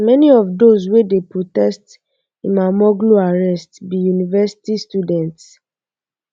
many of um those wey dey protest imamoglu arrest be university students